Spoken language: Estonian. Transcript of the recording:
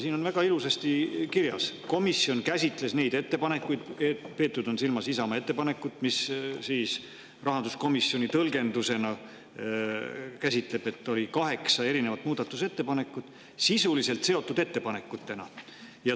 Siin on väga ilusasti kirjas, et komisjon käsitles neid ettepanekuid – silmas on peetud Isamaa ettepanekut ja rahanduskomisjoni tõlgendus käsitleb seda nii, et seal oli kaheksa erinevat muudatusettepanekut – sisuliselt seotud ettepanekutena.